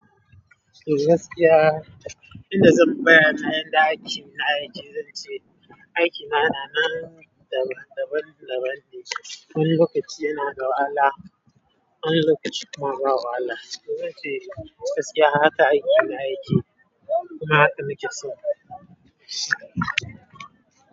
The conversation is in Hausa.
Eh gaskiya, idan zan bayyana yanda aikin na yake zan ce, aikina yana nan daban-daban ne. Wani lokaci yana da wahala, wani lokaci kuma ba wahala. Zan ce gaskiya haka aikin na yake kuma haka nake so.